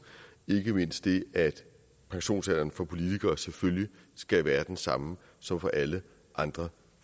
ikke mindst det at pensionsalderen for politikere selvfølgelig skal være den samme som for alle andre